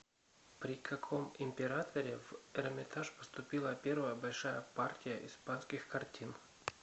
при каком императоре в эрмитаж поступила первая большая партия испанских картин